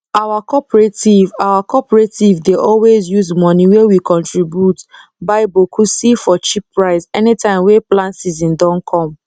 our cooperative our cooperative dey always use money wey we contribute buy boku see for cheap price anytime wey plant season don come